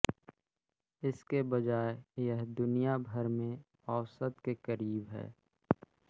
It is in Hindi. इसके बजाय यह दुनिया भर में औसत के करीब है